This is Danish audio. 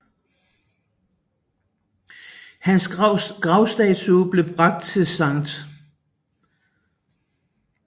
Hans gravstatue blev bragt til St